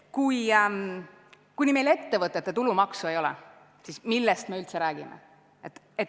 Kuni meil ettevõtete tulumaksu ei ole, siis millest me üldse räägime.